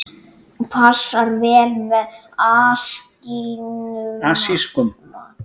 Passar vel með asískum mat.